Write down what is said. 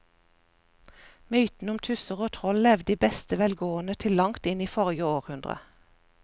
Mytene om tusser og troll levde i beste velgående til langt inn i forrige århundre.